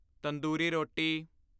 ਤੰਦੂਰੀ ਰੋਟੀ